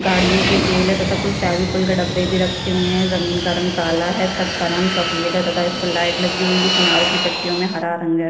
गाड़ियों के तेल है तथा कुछ फेबिकोल का डब्बे भी रखे हुए है जमीन का रंग काला है छत का रंग सफ़ेद है तथा इस पर लाइट लगी हुई है किनारो की पट्टीयो में हरा रंग है।